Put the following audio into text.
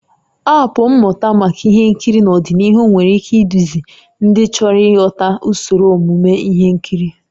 Aapụ mmụta maka ihe nkiri n'ọdịnihu nwere ike iduzi ndị chọrọ ịghọta usoro omume ihe nkiri